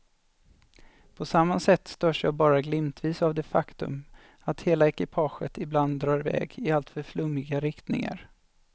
På samma sätt störs jag bara glimtvis av det faktum att hela ekipaget ibland drar i väg i alltför flummiga riktningar.